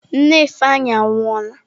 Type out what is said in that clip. Nne Ifeanyi anwụọla.